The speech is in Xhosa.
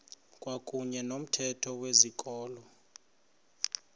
kwakuyne nomthetho wezikolo